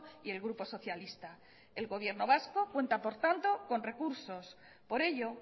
y el grupo socialista el gobierno vasco cuenta por tanto con recursos por ello